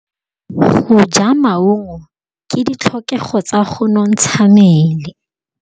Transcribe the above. Go ja maungo ke ditlhokegô tsa go nontsha mmele.